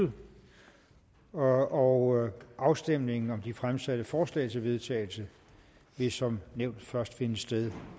om ordet og afstemning om de fremsatte forslag til vedtagelse vil som nævnt først finde sted